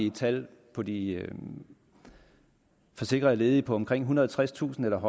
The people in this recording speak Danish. et tal for de forsikrede ledige på omkring ethundrede og tredstusind eller